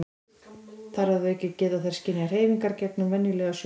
þar að auki geta þær skynjað hreyfingar gegnum venjulega sjón